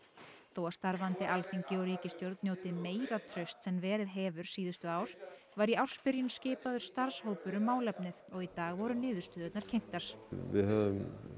þó að starfandi Alþingi og ríkisstjórn njóti meira trausts en verið hefur síðustu ár var í ársbyrjun skipaður starfshópur um málefnið og í dag voru niðurstöðurnar kynntar við höfum